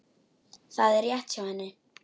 Það er rétt hjá henni.